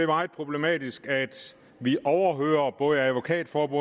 meget problematisk at vi overhører både advokatrådets